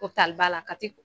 la KATI.